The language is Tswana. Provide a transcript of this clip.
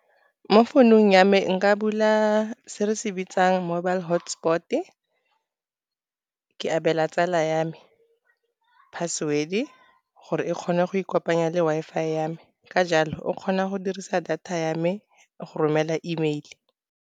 Mo founung ya me nka bula se re se bitsang mobile hotspot-e, ke abela tsala ya me password-e gore e kgone go ikopanya le Wi-Fi ya me. Ka jalo o kgona go dirisa data ya me go romela E mail-e.